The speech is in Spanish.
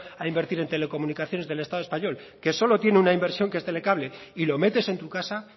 a invertir en telecomunicaciones del estado español que solo tiene una inversión que es telecable y lo metes en tu casa